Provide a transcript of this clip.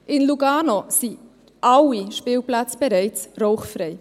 In Lugano sind alle Spielplätze bereits rauchfrei.